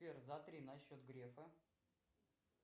сбер затри на счет грефа